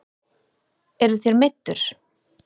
Eruð þér meiddur?